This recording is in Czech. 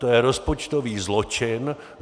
To je rozpočtový zločin.